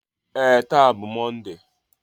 Ee, taa bụ Mọnde.